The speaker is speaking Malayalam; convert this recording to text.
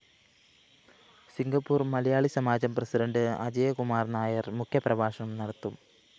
സിംഗപ്പൂര്‍ മലയാളിസമാജം പ്രസിഡന്റ് അജയകുമാര്‍ നായര്‍ മുഖ്യപ്രഭാഷണം നടത്തും